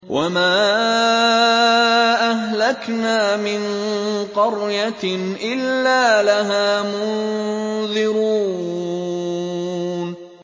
وَمَا أَهْلَكْنَا مِن قَرْيَةٍ إِلَّا لَهَا مُنذِرُونَ